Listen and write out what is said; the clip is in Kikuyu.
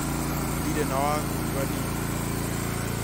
Ndirĩ na wakuga niĩ